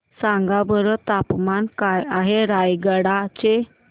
सांगा बरं तापमान काय आहे रायगडा चे